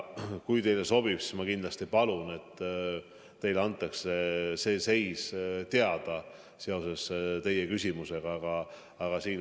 Kui teile sobib, siis ma palun, et teile antakse see teie küsitud seis teada.